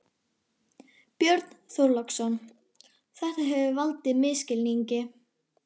Björn Þorláksson: Þetta hefur valdið misskilningi?